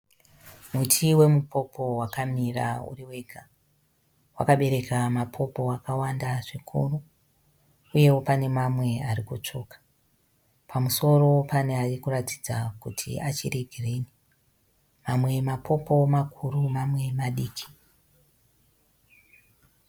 Muti wemupopo wakamira uri wega. Wakabereka mapopo akawanda zvikuru uyewo pane mamwe arikutsvuka. Pamusoro pane arikuratidza kuti achiri girinhi. Mamwe mapopo makuru mamwe madiki.